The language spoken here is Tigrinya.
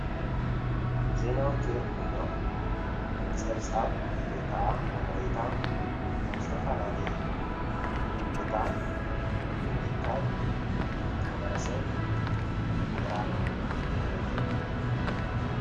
ዜና ኣውትር እንብሎ ፀብፃብ ወይከኣ ሓበሬታ ዝተፈላለየ ቦታ ብምእካብ ንማሕበረሰብ ምቅራብ ማለት እዩ።